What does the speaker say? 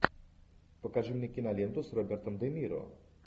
покажи мне киноленту с робертом де ниро